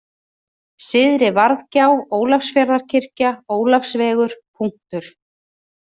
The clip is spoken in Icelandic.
Syðri-Varðgjá, Ólafsfjarðarkirkja, Ólafsvegur, Punktur